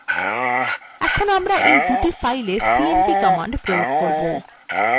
এখন আমরা এই দুই fileswe cmp command প্রয়োগ করবো